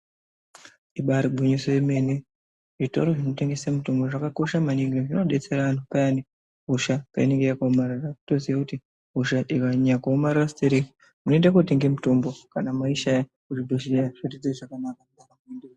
Ibaari gwinyiso yemene, zvitoro zvinotengese mitombo zvakakosha maningi zvinodetsera anhu payani hosha painenge yakaomarara toziya kuti hosha ikanyanya kuomarara sitereki munoenda kootenga mitombo kana maishaya kuzvibhedhlera zvinotiitira zvakanaka.